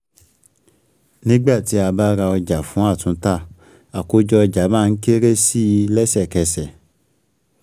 Nígbà tí a bá ra ọjà fún àtúntà, àkójọ ọjà má ń kéré sí i lẹ́sẹ̀kẹ́sẹ̀.